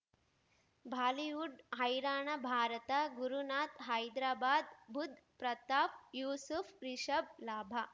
Bollywood ಹೈರಾಣ ಭಾರತ ಗುರುನಾಥ್ ಹೈದ್ರಾಬಾದ್ ಬುಧ್ ಪ್ರತಾಪ್ ಯೂಸುಫ್ ರಿಷಬ್ ಲಾಭ